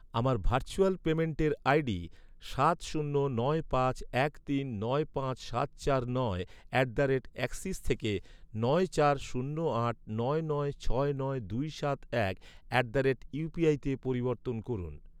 আমার ভার্চুয়াল পেমেন্টের আইডি সাত শূন্য নয় পাঁচ এক তিন নয় পাঁচ সাত চার নয় অ্যাট দ্য রেট অ্যাক্সিস থেকে নয় চার শূন্য আট নয় নয় ছয় নয় দুই সাত এক অ্যাট দ্য রেট ইউপিআইতে পরিবর্তন করুন।